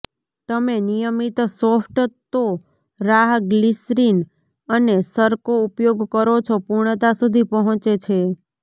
તમે નિયમિત સોફ્ટ ટો રાહ ગ્લિસરીન અને સરકો ઉપયોગ કરો છો પૂર્ણતા સુધી પહોંચે છે